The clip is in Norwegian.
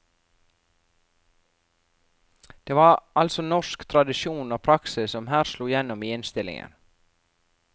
Det var altså norsk tradisjon og praksis som her slo gjennom i innstillingen.